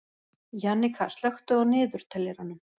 Jannika, slökktu á niðurteljaranum.